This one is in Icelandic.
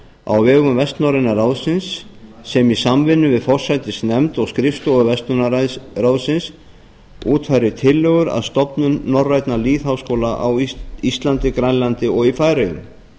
á vegum vestnorræna ráðsins sem í samvinnu við forsætisnefnd og skrifstofu verslunarráðsins útfærir tillögur að stofnun norrænna lýðháskóla á íslandi grænlandi og í færeyjum